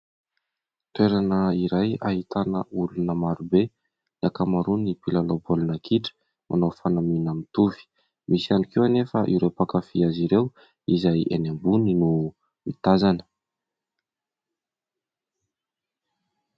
Toerana iray ahitana olona maro be ny ankamaroany. mpilalao baolina kitra manao fanamiana mitovy, misy ihany koa anefa ireo mpankafia azy ireo izay eny ambony no mitazana.